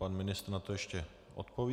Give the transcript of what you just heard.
Pan ministr na to ještě odpoví.